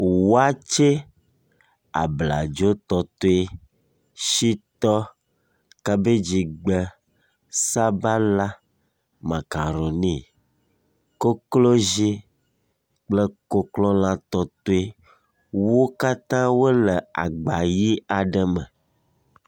Waakye, abladzo tɔtoe, shitɔ, kabedzigbe, sabala, makaroni, koklozi kple koklolã tɔtoe, wo katã wole agba ʋi aɖe me.